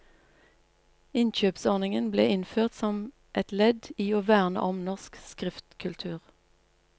Innkjøpsordningen ble innført som et ledd i å verne om norsk skriftkultur.